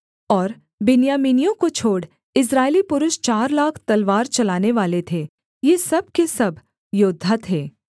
और बिन्यामीनियों को छोड़ इस्राएली पुरुष चार लाख तलवार चलानेवाले थे ये सब के सब योद्धा थे